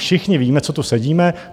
Všichni víme, co tu sedíme...